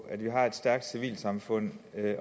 at vi har et stærkt civilsamfund